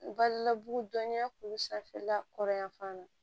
Balila bugudɔnya k'u sanfɛla kɔrɔ yanfan na